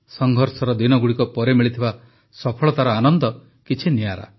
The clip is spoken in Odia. ସଂଘର୍ଷର ଦିନଗୁଡ଼ିକ ପରେ ମିଳିଥିବା ସଫଳତାର ଆନନ୍ଦ କିଛି ନିଆରା